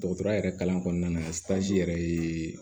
Dɔgɔtɔrɔya yɛrɛ kalan kɔnɔna na yɛrɛ ye